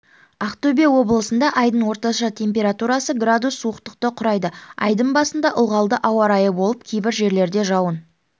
ақтөбе облысындаайдың орташа температурасы градус суықтықты құрайды айдың басында ылғалды ауа райы болып кейбір жерлерде жауын